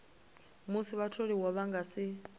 musi vhatholiwa vha nga si